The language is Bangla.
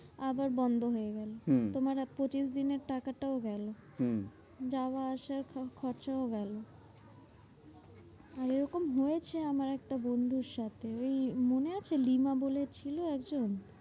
আবার বন্ধ হয়ে গেলো হম তোমার আর পঁচিশ দিনের টাকাটাও গেলো। হম যাওয়া আসার সব খরচও গেলো। আর এরকম হয়েছে আমার একটা বন্ধুর সাথে এই মনে আছে? লিমা বলে ছিল একজন?